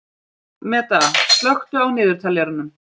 Meda, slökktu á niðurteljaranum.